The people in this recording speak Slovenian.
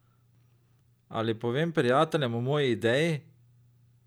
Ali povem prijateljem o moji ideji?